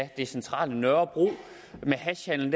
det centrale nørrebro af hashhandel